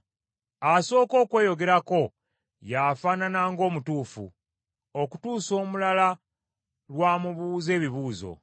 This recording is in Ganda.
Asooka okweyogerako y’afaanana ng’omutuufu, okutuusa omulala lw’amubuuza ebibuuzo.